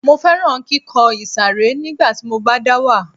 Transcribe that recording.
Mo fẹ́ràn kíkọ ìsàré nígbà tí mo bá dá wà